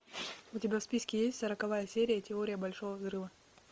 у тебя в списке есть сороковая серия теория большого взрыва